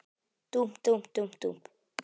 Dúmp, dúmp, dúmp, dúmp.